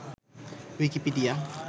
Wikipedia